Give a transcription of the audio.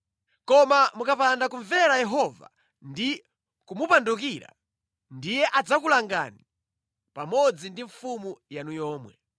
Koma mukapanda kumvera Yehova ndi kumupandukira, ndiye adzakulangani pamodzi ndi mfumu yanu yomwe.